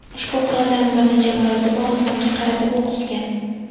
ushbu quroldan bir necha marotaba osmonga qaratib o‘q uzgan.